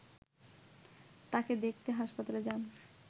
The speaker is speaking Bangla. তাঁকে দেখতে হাসপাতালে যান